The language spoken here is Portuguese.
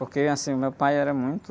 Porque, assim, meu pai era muito...